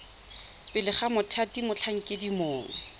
pele ga mothati motlhankedi mongwe